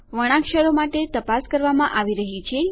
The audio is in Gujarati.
વર્ણાક્ષરો માટે તપાસ કરવામાં આવી રહ્યી છે